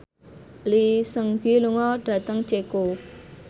Lee Seung Gi lunga dhateng Ceko